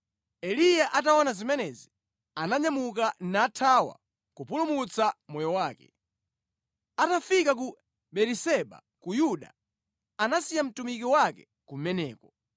Eliya ataona zimenezi, ananyamuka nathawa kupulumutsa moyo wake. Atafika ku Beeriseba ku Yuda, anasiya mtumiki wake kumeneko,